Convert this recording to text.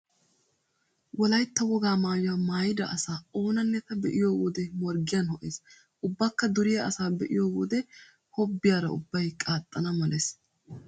Wolaytta wogaa maayuwa maayida asa oonanne ta be'iyo wode morggiyan ho"ees. Ubbakka duriya asaa be'iyo wode wobbiyara ubbay qaaxxanawu malees.